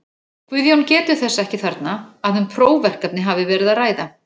Guðjón getur þess ekki þarna, að um prófverkefni hafi verið að ræða.